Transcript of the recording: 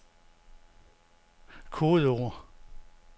kodeord